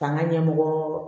K'an ka ɲɛmɔgɔɔɔ